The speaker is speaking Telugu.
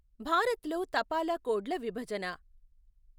భారత్ లో తపాలా కోడ్ ల విభజన.